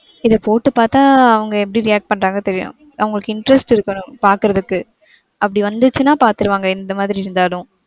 இத போட்டு பாத்தா அவங்க எப்படி react பன்றாங்க தெரியும். அவங்களுக்கு interest இருக்கனும் பார்க்குறதுக்கு. அப்டி வந்துருச்சுனா பாத்துருவாங்க எந்தமாதிரி இருந்தாலும்.